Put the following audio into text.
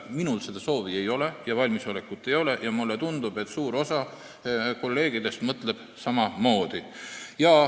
Minul seda soovi ega valmisolekut ei ole ning mulle tundub, et suur osa kolleegidest mõtleb samamoodi.